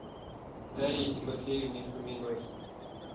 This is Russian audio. дарье тимофеевне фоминой